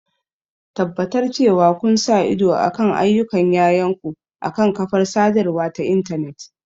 Tabbatar cewa kun sa ido kan ayyukan yayanku akan kafar sadarwa ta intanet.